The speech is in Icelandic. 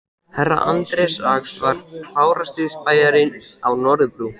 Herra Anders Ax var klárasti spæjarinn á Norðurbrú.